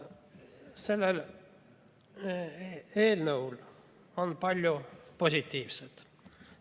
Selles eelnõus on palju positiivset.